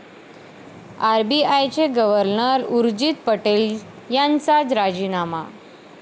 आरबीआयचे गव्हर्नर उर्जित पटेल यांचा राजीनामा